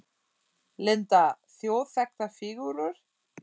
Linda: Þjóðþekktar fígúrur?